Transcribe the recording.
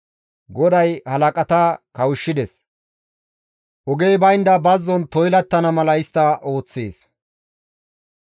GODAY halaqata kawushshides; ogey baynda bazzon toylattana mala istta ooththees.